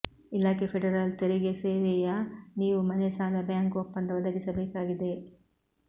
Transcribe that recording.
ಇಲಾಖೆ ಫೆಡರಲ್ ತೆರಿಗೆ ಸೇವೆಯ ನೀವು ಮನೆ ಸಾಲ ಬ್ಯಾಂಕ್ ಒಪ್ಪಂದ ಒದಗಿಸಬೇಕಾಗಿದೆ